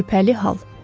Şübhəli hal.